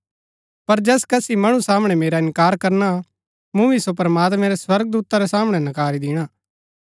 पर जैस कसी मणु सामणै मेरा इन्कार करना मूँ भी सो प्रमात्मैं रै स्वर्गदूता रै सामणै नकारी दिणा